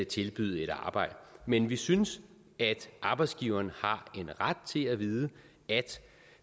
tilbyde arbejde men vi synes at arbejdsgiveren har en ret til at vide